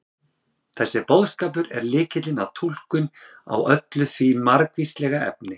þessi boðskapur er lykillinn að túlkun á öllu því margvíslega efni